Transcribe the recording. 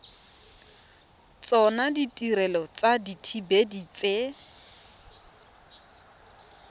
tsona ditirelo tsa dithibedi tse